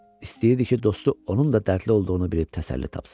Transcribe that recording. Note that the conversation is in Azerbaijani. İstəyirdi ki, dostu onun da dərdli olduğunu bilib təsəlli tapsın.